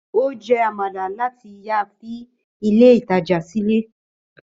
Ó jẹ amala láti ìyá fi ilé ìtajà sílẹ̀